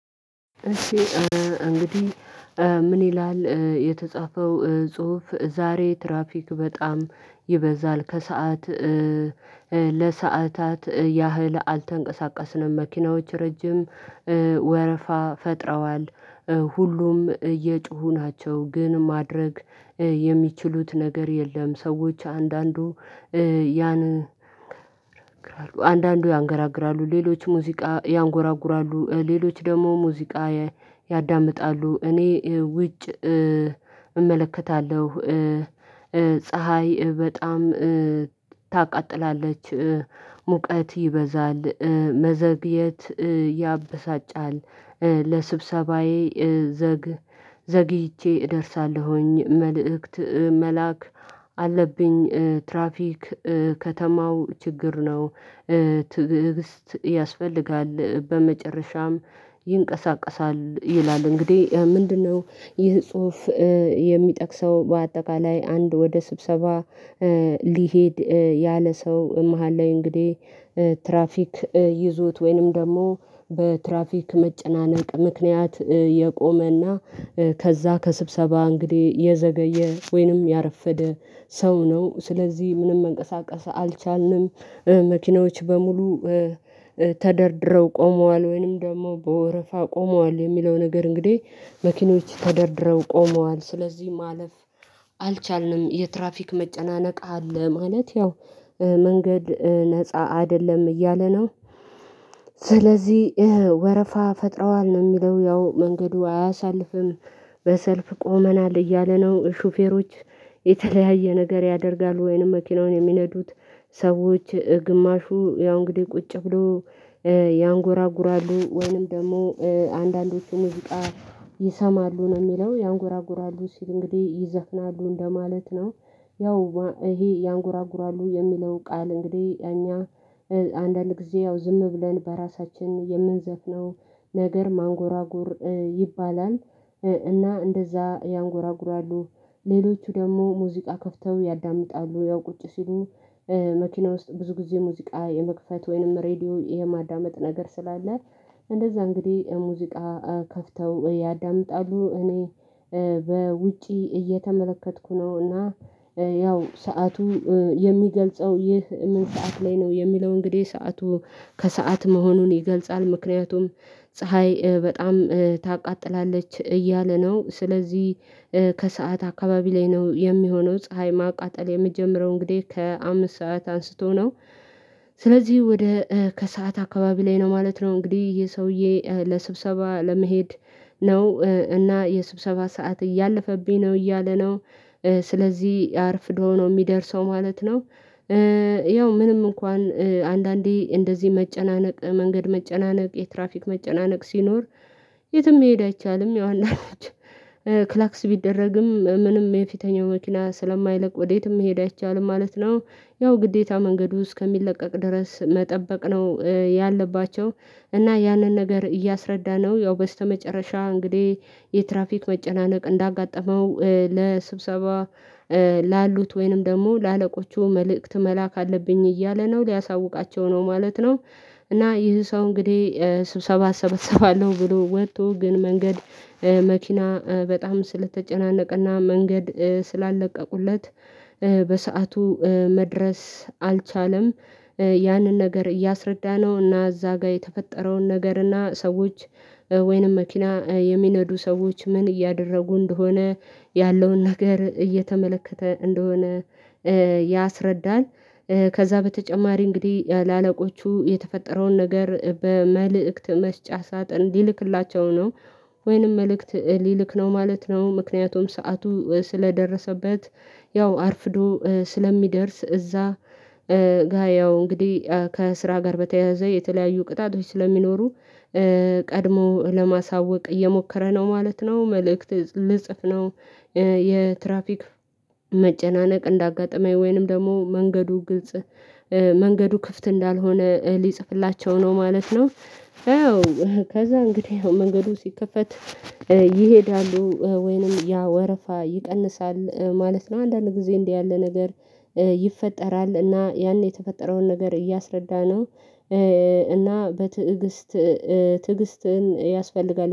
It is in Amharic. እሺ እንግዲህ ምን ይላል የተጻፈው ጹሁፍ። ዛሬ ትራፊክ በጣም ይበዛል ከሰአት ለሰአታት ያህል አልተንቀሳቀስነም መኪናዎች ረጅም ወረፋ ፈጥረዋል ሁሉም እየሁ ናቸው ግን ማድረግ የሚችሉት ነገር የለም። ሰዎች አንዳንዱ አንዳንዱ ያንገራግራሉ ሌሎች ሙዚቃ ያንጎራጉራሉ ሌሎች ደግሞ ሙዚቃ ያዳምጣሉ እኔ ውጭ እመለከታለሁ ፀሀይ በጣም ታቃጥላለች ሙቀት ይበዛል መዘግየት ያበሳጫል ለስብሰባዬ ዘግ ዘግይቼ እደርሳለሁኝ መልእክት መላክ አለብኝ ትራፊክ ከተማው ችግር ነው። ትዕግስት ያስፈልጋል በመጨረሻም ይንቀሳቀሳል ይላል። እንግዲህ ምንድን ነው ይህ ጽሁፍ? የሚጠቅሰው በአጠቃላይ አንድ ወደ ስብሰባ ሊሄድ ያለ ሰው መሃል ላይ እንግዲህ ትራፊክ ይዞት ወይንም ደግሞ በትራፊክ መጨናነቅ ምክንያት የቆመና ከዛ ከስብሰባ እንግዲህ የዘገየ ወይንም ያረፈደ ሰው ነው። ስለዚህ ምንም መንቀሳቀስ አልቻልንም መኪናዎች በሙሉ ተደርድረው ቆመዋል ወይንም ደግሞ በወረፋ ቆመዋል የሚለው ነገር እንግዲህ መኪኖች ተደርድረው ቆመዋል ስለዚህ ማለፍ አልቻልንም የትራፊክ መጨናነቅ አለ። ማለት ያው መንገድ ነፃ አይደለም እያለ ነው። ስለዚህ ወረፋ ፈጥረዋል ነው ሚለው ያው መንገዱ አያሳልፍም በሰልፍ ቆመናል እያለ ነው። ሹፌሮች የተለያየ ነገር ያደርጋሉ ወይንም መኪናውን የሚነዱት ሰዎች ግማሹ ያው እንግዲህ ቁጭ ብሎ ያንጎራጉራሉ ወይንም ደግሞ አንዳንዶቹ ሙዚቃ ይሰማሉ ነው የሚለው ያንጎራጉራሉ ሲል እንግዲህ ይዘፍናሉ እንደማለት ነው። ያው ይሄ ያንጎራጉራሉ የሚለው ቃል እንግዲህ አንዳንድ ጊዜ ያው ዝም ብለን በራሳችን የምንዘፍነው ነገር ማንጎራጎር ይባላል። እና እንደዛ ያንጎራጉራሉ ሌሎቹ ደግሞ ሙዚቃ ከፍተው ያዳምጣሉ ያው ቁጭ ሲሉ መኪና ውስጥ ብዙ ጊዜ ሙዚቃ የመክፈት ወይንም ሬዲዮ የማዳመጥ ነገር ስላለ እንደዛ እንግዲህ ሙዚቃ ከፍተው ያዳምጣሉ። እኔ በውጪ እየተመለከትኩ ነው እና ያው ሰዓቱ የሚገልጸው ይህ ምን ሰዓት ላይ ነው የሚለው እንግዲህ ሰዓቱ ከሰአት መሆኑን ይገልጻል ምክንያቱም ፀሀይ በጣም ታቃጥላለች እያለ ነው ስለዚህ ከሰአት አካባቢ ላይ ነው የሚሆነው ፀሀይ ማቃጠል የምትጀምረው እንግዲህ ከአምስት ሰዓት አንስቶ ነው። ስለዚህ ወደ ከሰአት አካባቢ ላይ ነው ማለት ነው። እንግዲህ ይሄ ሰውዬ ለስብሰባ ለመሄድ ነው እና የስብሰባ ሰዓት እያለፈብኝ ነው እያለ ነው ስለዚህ አርፍዶ ነው ሚደርሰው ማለት ነው። ያው ምንም እንኳን አንዳንዴ እንደዚህ መጨናነቅ መንገድ መጨናነቅ የትራፊክ መጨናነቅ ሲኖር የትም መሄድ አይቻልም ያው አንዳንዶቹ ክላክስ ቢደረግም ምንም የፊተኛው መኪና ስለማይለቅ ወዴትም መሄድ አይቻልም ማለት ነው። ያው ግዴታ መንገዱ ውስጥ እስከሚለቀቅ ድረስ መጠበቅ ነው ያለባቸው እና ያንን ነገር እያስረዳነው ያው በስተመጨረሻ እንግዲህ የትራፊክ መጨናነቅ እንዳጋጠመው ለስብሰባ ላሉት ወይንም ደግሞ ለአለቆቹ መልእክት መላክ አለብኝ እያለ ነው ሊያሳውቃቸው ነው ማለት ነው። እና ይህ ሰው እንግዲህ ስብሰባ እሰበሰባለሁ ብሎ ወጥቶ ግን መንገድ መኪና በጣም ስለተጨናነቀና መንገድ ስላለቀቁለት በሰአቱ መድረስ አልቻለም። ያንን ነገር እያስረዳነው እና እዛ ጋር የተፈጠረውን ነገር እና ሰዎች ወይንም መኪና የሚነዱ ሰዎች ምን እያደረጉ እንደሆነ ያለውን ነገር እየተመለከተ እንደሆነ ያስረዳል። ከዛ በተጨማሪ እንግዲህ ለአለቆቹ የተፈጠረውን ነገር በመልእክት መስጫ ሳጥን ሊልክላቸው ነው ወይንም መልእክት ሊልክ ነው ማለት ነው። ምክንያቱም ሰዓቱ ስለደረሰበት ያው አርፍዶ ስለሚደርስ እዛ ጋ ያው እንግዲህ ከስራ ጋር በተያያዘ የተለያዩ ቅጣቶች ስለሚኖሩ ቀድሞ ለማሳወቅ እየሞከረ ነው ማለት ነው። መልእክት ልጽፍ ነው የትራፊክ መጨናነቅ እንዳጋጠመኝ ወይንም ደግሞ መንገዱ ግልጽ መንገዱ ክፍት እንዳልሆነ ሊጽፍላቸው ነው ማለት ነው። ከዛ እንግዲህ መንገዱ ሲከፈት ይሄዳሉ ወይንም ያ ወረፋ ይቀንሳል ማለት ነው። አንዳንድ ጊዜ እንዲህ ያለ ነገር ይፈጠራል እና ያኔ የተፈጠረውን ነገር እያስረዳነው እና በትዕግስት ትዕግስትን ያስፈልጋል